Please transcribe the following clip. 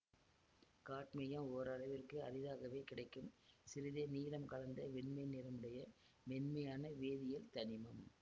cadmium ஓரளவிற்கு அரிதாகவே கிடைக்கும் சிறிதே நீலம் கலந்த வெண்மை நிறமுடைய மென்மையான வேதியியல் தனிமம்